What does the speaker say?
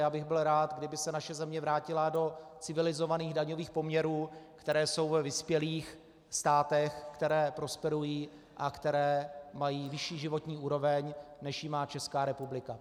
A já bych byl rád, kdyby se naše země vrátila do civilizovaných daňových poměrů, které jsou ve vyspělých státech, které prosperují a které mají vyšší životní úroveň, než ji má Česká republika.